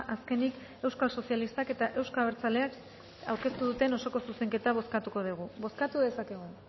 azkenik euskal sozialistak eta euzko abertzaleak aurkeztu duten osoko zuzenketa bozkatuko dugu bozkatu dezakegu